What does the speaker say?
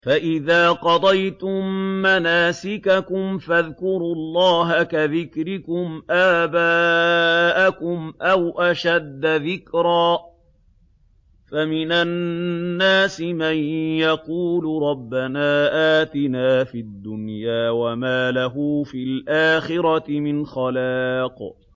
فَإِذَا قَضَيْتُم مَّنَاسِكَكُمْ فَاذْكُرُوا اللَّهَ كَذِكْرِكُمْ آبَاءَكُمْ أَوْ أَشَدَّ ذِكْرًا ۗ فَمِنَ النَّاسِ مَن يَقُولُ رَبَّنَا آتِنَا فِي الدُّنْيَا وَمَا لَهُ فِي الْآخِرَةِ مِنْ خَلَاقٍ